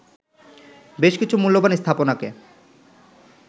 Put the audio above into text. বেশ কিছু মূল্যবান স্থাপনাকে